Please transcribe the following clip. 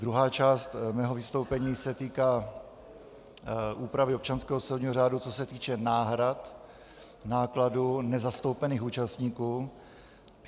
Druhá část mého vystoupení se týká úpravy občanského soudního řádu, co se týče náhrad nákladů nezastoupených účastníků.